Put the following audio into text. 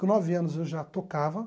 Com nove anos eu já tocava.